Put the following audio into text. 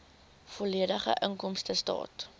volledige inkomstestaat